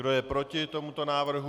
Kdo je proti tomuto návrhu?